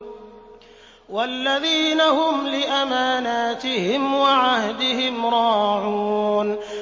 وَالَّذِينَ هُمْ لِأَمَانَاتِهِمْ وَعَهْدِهِمْ رَاعُونَ